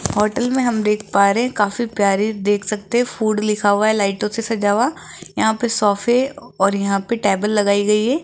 Hotel में हम देख पा रहे हैं काफी प्यारी देख सकते हैं फूड लिखा हुआ है लाइटों से सजा हुआ यहां पे सोफे और यहां पे टेबल लगाई गई हैं।